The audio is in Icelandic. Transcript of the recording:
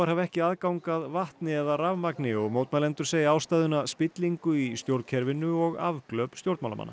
hafa ekki aðgang að vatni eða rafmagni og mótmælendur segja ástæðuna spillingu í stjórnkerfinu og afglöp stjórnmálamanna